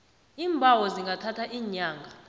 iimbawo zingathatha iinyanga